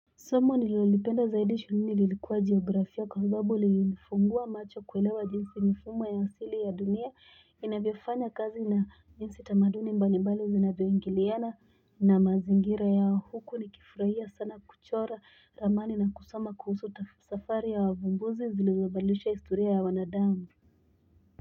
Somo nilolipenda zaidi shuleni lilikuwa geografia kwa sababu lilinifungua macho kuelewa jinsi mifumo ya hasili ya dunia inavyofanya kazi na njinsi tamaduni mbali mbali zinavyoingiliana na mazingira yao huku ni kifurahia sana kuchora ramani na kusoma kuhusu safari ya wavumbuzi zilizobadirisha historia ya wanadamu.